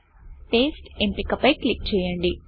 paste ఎంపిక పై click చేయoడి